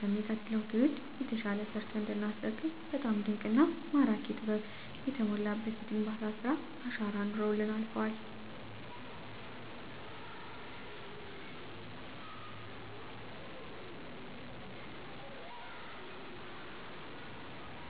ለሚቀጥለው ትውልድ የተሻለ ሰርተን እንዲናስረክብ በጣም ድንቅና ማራኪ ጥበብ የተሞላበት የግንባታ ስራ አሻራ አኑረውልን አልፈዋል።